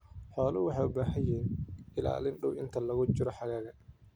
Xooluhu waxay u baahan yihiin ilaalin dhow inta lagu jiro xagaaga.